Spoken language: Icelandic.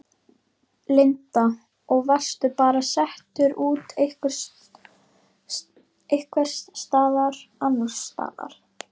Linda: Og varstu bara settur út einhvers staðar annars staðar?